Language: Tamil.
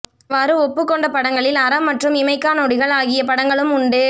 அவ்வாறு ஒப்புக்கொண்ட படங்களில் அறம் மற்றும் இமைக்கா நொடிகள் ஆகிய படங்களும் உண்டு